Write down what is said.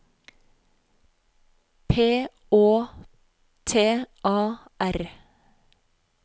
P Å T A R